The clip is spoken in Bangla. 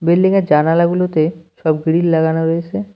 বিল্ডিং -এর জানালাগুলোতে সব গ্রিল লাগানো রয়েসে।